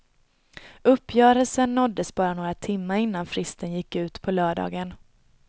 Uppgörelsen nåddes bara några timmar innan fristen gick ut på lördagen.